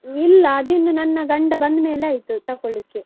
ಇಲ್ಲ ಅದು ಇನ್ನು ನನ್ನ ಗಂಡ ಬಂದ್ ಮೇಲೆ ಆಯ್ತು ತಕೊಳ್ಳಿಕ್ಕೆ.